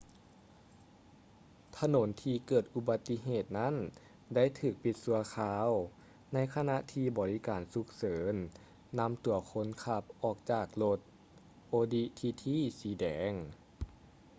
ຖະໜົນທີ່ເກີດອຸບັດຕິເຫດນັ້ນໄດ້ຖືກປິດຊົ່ວຄາວ ໃນຂະນະທີ່ບໍລິການສຸກເສີນນຳຕົວຄົນຂັບອອກຈາກລົດ audi tt ສີແດງ